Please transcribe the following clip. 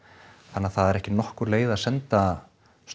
þannig að það er ekki nokkur leið að senda